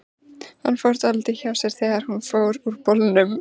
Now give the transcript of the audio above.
Hann fór dálítið hjá sér þegar hún fór úr bolnum.